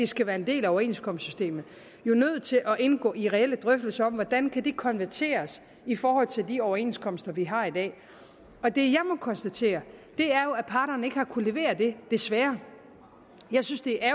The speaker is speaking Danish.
skal være en del af overenskomstsystemet nødt til at indgå i reelle drøftelser om hvordan det kan konverteres i forhold til de overenskomster vi har i dag og det jeg må konstatere er jo at parterne ikke har kunnet levere det desværre jeg synes det er